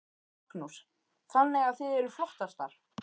Magnús: Þannig að þið eruð flottastar?